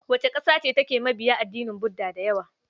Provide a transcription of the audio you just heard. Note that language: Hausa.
Wace ƙasa ce take mabiya addinin Buda da yawa?